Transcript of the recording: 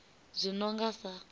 zwi no nga sa u